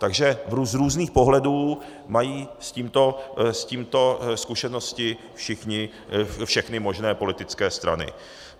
Takže z různých pohledů mají s tímto zkušenosti všechny možné politické strany.